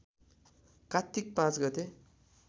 कात्तिक ५ गते